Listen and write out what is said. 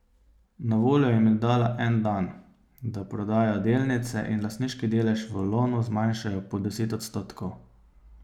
Na voljo jim je dala en dan, da prodajo delnice in lastniški delež v Lonu zmanjšajo pod deset odstotkov.